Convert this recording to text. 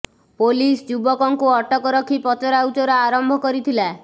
police ଯୁବକଙ୍କୁ ଅଟକ ରଖି ପଚରା ଉଚରା ଆରମ୍ଭ କରିଥିଲା